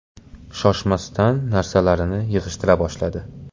Shoshmasdan narsalarini yig‘ishtira boshladi.